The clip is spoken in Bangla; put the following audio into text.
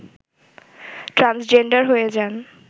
ট্রান্সজেন্ডার হয়ে যান